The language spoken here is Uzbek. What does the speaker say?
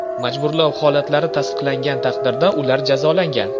Majburlov holatlari tasdiqlangan taqdirda, ular jazolangan.